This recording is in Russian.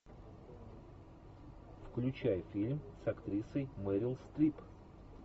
включай фильм с актрисой мэрил стрип